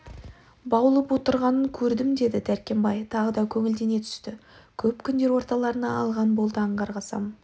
баулып отырғанын көрдім деді дәркембай тағы да көңілдене түсті көп күндер орталарына алған болды аңғарсам